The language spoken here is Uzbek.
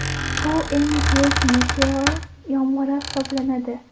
Bu eng tez meteor yomg‘iri hisoblanadi.